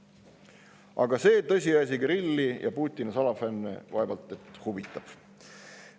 Aga see tõsiasi Kirilli ja Putini salafänne vaevalt et huvitab.